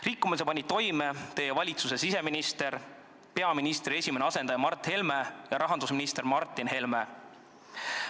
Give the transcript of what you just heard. Rikkumise panid toime teie valitsuse siseminister, peaministri esimene asendaja Mart Helme ja rahandusminister Martin Helme.